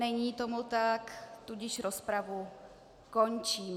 Není tomu tak, tudíž rozpravu končím.